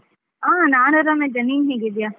ಹಾ ನಾನು ಆರಾಮಿದ್ದೇನೆ, ನೀನು ಹೇಗಿದ್ದೀಯಾ ?